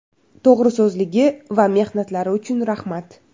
To‘g‘riso‘zligi va mehnatlari uchun rahmat.